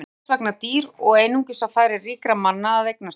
Þau voru þess vegna dýr og einungis á færi ríkra manna að eignast þau.